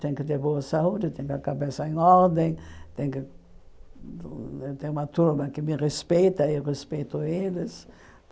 Tem que ter boa saúde, tem que ter a cabeça em ordem, tem que ter uma turma que me respeita e eu respeito eles.